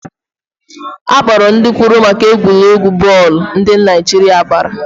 Akpọrọ ndị kwuru maka egwuregwu bọọlụ Naijiria gbara